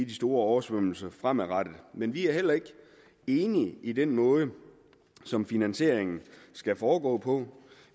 de store oversvømmelser fremadrettet men vi er heller ikke enige i den måde som finansieringen skal foregå på